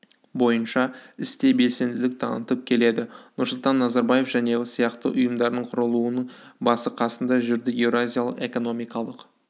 бойынша істе белсенділік танытып келеді нұрсұлтан назарбаев және сияқты ұйымдардың құрылуының басы-қасында жүрді еуразиялық экономикалық